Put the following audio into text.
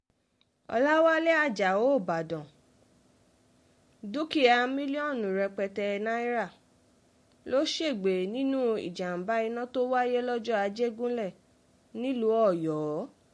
ọ̀làwálẹ̀ ajáò ìbàdàn dúkìá mílíọ̀nù rẹpẹtẹ náírà ló ṣègbè sínú ìjàm̀bá iná tó wáyé lọ́jà àjẹgúnlẹ̀ nílùú ọ̀yọ́